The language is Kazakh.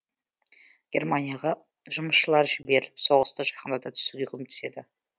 германияға жұмысшылар жіберіліп соғысты жақындата түсуге көмектеседі